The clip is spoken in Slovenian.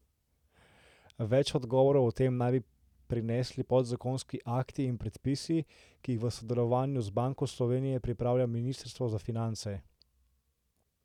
Več odgovorov o tem naj bi prinesli podzakonski akti in predpisi, ki jih v sodelovanju z Banko Slovenije pripravlja ministrstvo za finance.